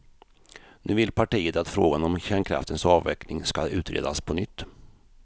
Nu vill partiet att frågan om kärnkraftens avveckling ska utredas på nytt.